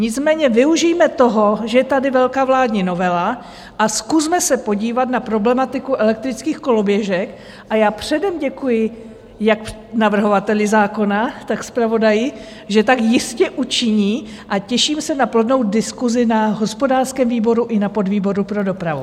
Nicméně využijme toho, že je tady velká vládní novela a zkusme se podívat na problematiku elektrických koloběžek a já předem děkuji jak navrhovateli zákona, tak zpravodaji, že tak jistě učiní, a těším se na plodnou diskusi na hospodářském výboru i na podvýboru pro dopravu.